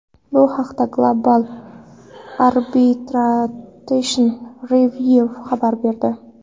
Bu haqda Global Arbitration Review xabar berdi .